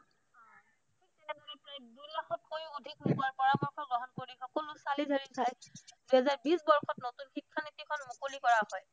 ষোল্লশতকৈও অধিক লোকৰ পৰামৰ্শ গ্ৰহণ কৰি সকলো চালি-জাৰি চাই দুহেজাৰ বিশ বৰ্ষত নতুন শিক্ষানীতিখন মুকলি কৰা হয়